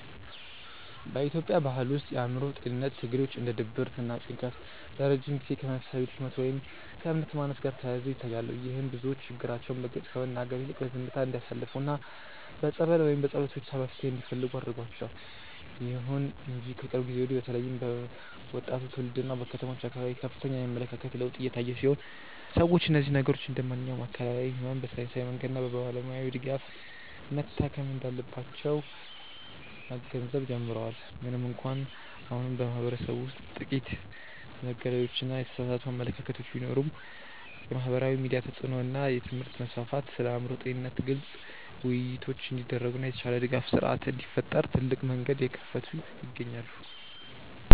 በኢትዮጵያ ባሕል ውስጥ የአእምሮ ጤንነት ትግሎች እንደ ድብርትና ጭንቀት ለረጅም ጊዜ ከመንፈሳዊ ድክመት ወይም ከእምነት ማነስ ጋር ተያይዘው ይታያሉ። ይህም ብዙዎች ችግራቸውን በግልጽ ከመናገር ይልቅ በዝምታ እንዲያሳልፉና በጸበል ወይም በጸሎት ብቻ መፍትሔ እንዲፈልጉ አድርጓቸዋል። ይሁን እንጂ ከቅርብ ጊዜ ወዲህ በተለይም በወጣቱ ትውልድና በከተሞች አካባቢ ከፍተኛ የአመለካከት ለውጥ እየታየ ሲሆን፣ ሰዎች እነዚህን ችግሮች እንደ ማንኛውም አካላዊ ሕመም በሳይንሳዊ መንገድና በባለሙያ ድጋፍ መታከም እንዳለባቸው መገንዘብ ጀምረዋል። ምንም እንኳን አሁንም በማኅበረሰቡ ውስጥ ጥቂት መገለሎችና የተሳሳቱ አመለካከቶች ቢኖሩም፣ የማኅበራዊ ሚዲያ ተጽዕኖ እና የትምህርት መስፋፋት ስለ አእምሮ ጤንነት ግልጽ ውይይቶች እንዲደረጉና የተሻለ የድጋፍ ሥርዓት እንዲፈጠር ትልቅ መንገድ እየከፈቱ ይገኛሉ።